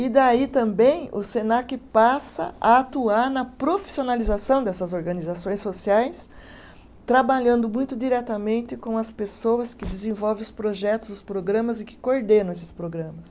E daí também o Senac passa a atuar na profissionalização dessas organizações sociais, trabalhando muito diretamente com as pessoas que desenvolvem os projetos, os programas e que coordenam esses programas.